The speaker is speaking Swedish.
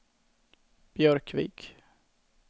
Björkvik